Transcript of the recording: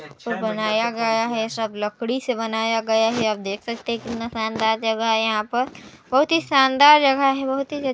बनाया गया है सब लकड़ी से बनाया गया हेे आप देख सकते हेे कितना शानदार जगह हेे यहाँ पर बहुत ही शानदार जगह हेेबहुत ही--